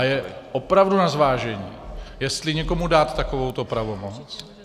A je opravdu na zvážení, jestli někomu dát takovou pravomoc.